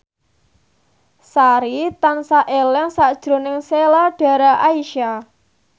Sari tansah eling sakjroning Sheila Dara Aisha